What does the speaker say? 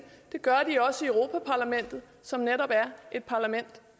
det gør de også i europa parlamentet som netop er et parlament